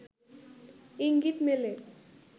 ইঙ্গিত মেলে